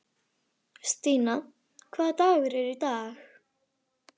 Stína, hvaða dagur er í dag?